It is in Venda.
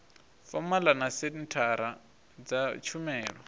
fomala na senthara dza tshumelo